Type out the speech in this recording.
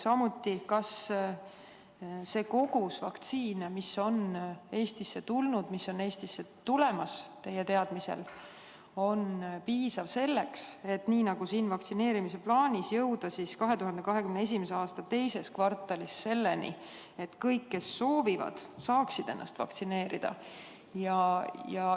Samuti, kas see kogus vaktsiine, mis on Eestisse tulnud ja mis on Eestisse teie teada tulemas, on piisav selleks, et nagu siin vaktsineerimise plaanis kirjas on, jõuda 2021. aasta teises kvartalis selleni, et kõik, kes soovivad, saaksid ennast vaktsineerida?